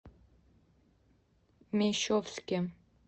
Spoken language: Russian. мещовске